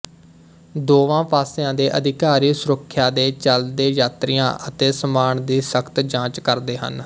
ਦੋਵਾਂ ਪਾਸਿਆਂ ਦੇ ਅਧਿਕਾਰੀ ਸੁਰੱਖਿਆ ਦੇ ਚੱਲਦੇ ਯਾਤਰੀਆਂ ਅਤੇ ਸਮਾਨ ਦੀ ਸਖ਼ਤ ਜਾਂਚ ਕਰਦੇ ਹਨ